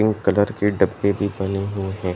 Blue colour के डब्बे भी बने हुए हैं ।